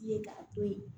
Ye k'a to ye